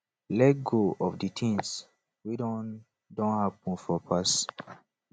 let go of di things wey don don happen for past